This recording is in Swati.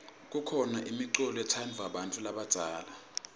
kukhona imiculo letsandvwa bantfu labadzala